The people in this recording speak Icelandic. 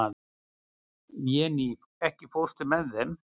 Véný, ekki fórstu með þeim?